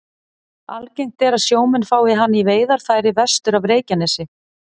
Algengt er að sjómenn fái hana í veiðarfæri vestur af Reykjanesi.